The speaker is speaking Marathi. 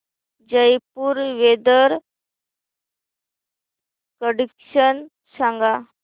जयपुर वेदर कंडिशन सांगा